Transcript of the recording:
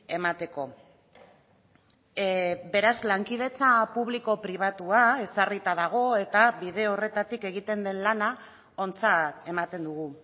emateko beraz lankidetza publiko pribatua ezarrita dago eta bide horretatik egiten den lana ontzat ematen dugu